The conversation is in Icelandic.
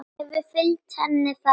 Hefur fylgt henni það hungur.